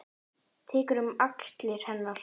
Tekur um axlir hennar.